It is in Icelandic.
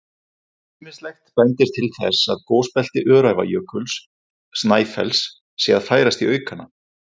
Ýmislegt bendir til þess að gosbelti Öræfajökuls-Snæfells sé að færast í aukana.